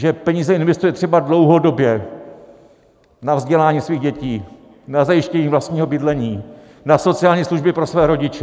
Že peníze investuje třeba dlouhodobě, na vzdělání svých dětí, na zajištění vlastního bydlení, na sociální služby pro své rodiče?